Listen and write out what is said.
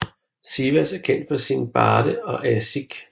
Sivas er kendt for sine barde og aşık